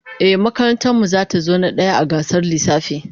Ehh, lallai makarantar mu zata zo na daya a gasar lissafi